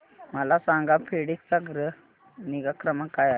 मला सांगा फेडेक्स चा ग्राहक निगा क्रमांक काय आहे